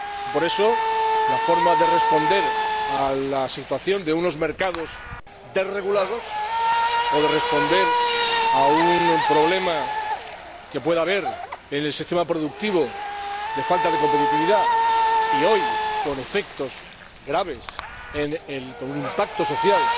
Por eso, la forma de responder a la situación de unos mercados desregulados o de responder a un problema que pueda haber en el sistema productivo de falta de competitividad —hoy con efectos graves, con un impacto social